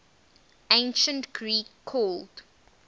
ancient greek called